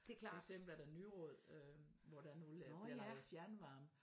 For eksempel er der Nyråd øh hvor der nu de laver fjernvarme